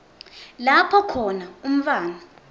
lapho khona umntfwana